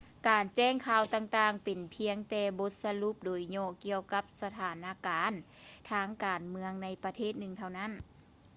ການແຈ້ງຂ່າວຕ່າງໆ ເປັນພຽງແຕ່ບົດສະຫຼຸບໂດຍຫຍໍ້ ກ່ຽວກັບສະຖານະການທາງການເມືອງ ໃນປະເທດໜຶ່ງເທົ່ານັ້ນ